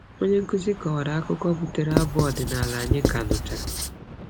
Onyenkụzi kọwara akụkọ butere abụ ọdịnala anyị ka nụchara.